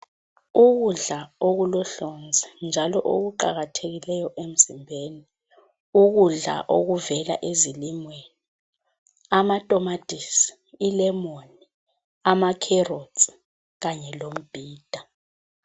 Ukudla okulohlonzi njalo okuqakathekileyo emzimbeni ukudla okuvela ezilimweni amatomatisi, ilemoni, amakherotsi kanye lombhida.